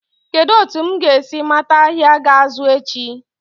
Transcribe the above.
Kedụ etu m ga-esi mata ahịa ga-azụ echi?